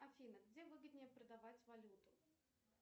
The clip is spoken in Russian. афина где выгоднее продавать валюту